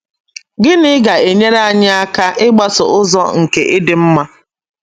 Gịnị ga - enyere anyị aka ịgbaso ụzọ nke ịdị mma?